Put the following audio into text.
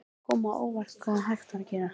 Það kom mér á óvart hvað hægt var að gera.